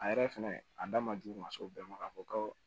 A yɛrɛ fɛnɛ a da ma jugu ma se o bɛɛ ma k'a fɔ ko